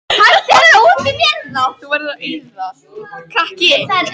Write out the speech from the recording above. Er þetta saga Lenu eða mín?